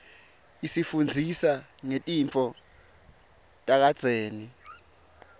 isifundzisa ngetintfo takadzeni